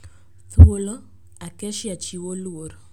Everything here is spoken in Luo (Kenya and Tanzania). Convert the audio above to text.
Thuolo, "Acacia chiwo luor".